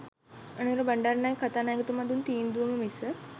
අනුර බණ්ඩාරනායක කථානායකතුමා දුන් තීන්දුවම මිස